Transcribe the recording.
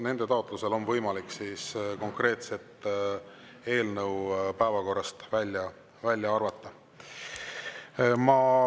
Nende taotlusel on võimalik konkreetset eelnõu päevakorrast välja arvata.